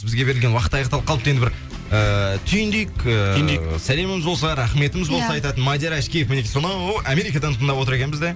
бізге берілген уақыт аяқталып қалыпты енді бір ыыы түйіндейік түйіндейік сәлеміміз болса рахметіміз болса айтатын ия мадияр ашкеев сонау америкадан тыңдап отыр екен бізді